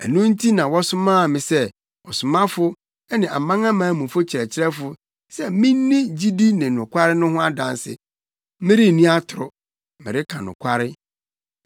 Ɛno nti na wɔsomaa me sɛ ɔsomafo ne amanamanmufo kyerɛkyerɛfo sɛ minni gyidi ne nokware no ho adanse. Merenni atoro, mereka nokware!